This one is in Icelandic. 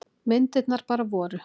Myndirnar bara voru.